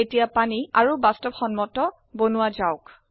এতিয়া পানী আৰু বাস্তবসম্মত কৰা যাওক